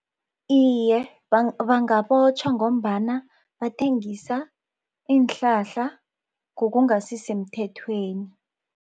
Iye, bangabotjhwa ngombana bathengisa iinhlahla ngokungasisemthethweni.